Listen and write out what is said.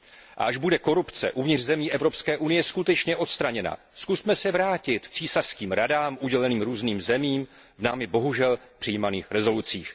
A až bude korupce v evropských zemí skutečně odstraněna, zkusme se vrátit k císařským radám uděleným různým zemím v námi, bohužel, přijímaných usneseních.